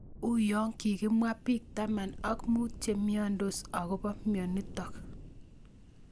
Uyo kikemwa pik taman ak mut che imiandos akopo mionitok